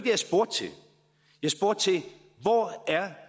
jeg spurgte til jeg spurgte til hvor